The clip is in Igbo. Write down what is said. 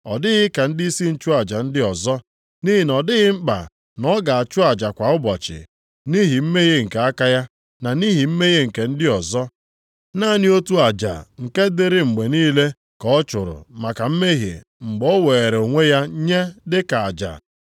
Ọ dịghị ka ndịisi nchụaja ndị ọzọ, nʼihi na ọ dịghị mkpa na ọ ga-achụ aja kwa ụbọchị, nʼihi mmehie nke aka ya, na nʼihi mmehie nke ndị ọzọ. Naanị otu aja nke dịrị mgbe niile ka ọ chụrụ maka mmehie mgbe o weere onwe ya nye dị ka aja.